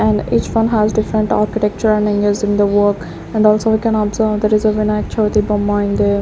And each one has different architecture and engage in the work and also we can observe there is a vinayak chavi bomma in there.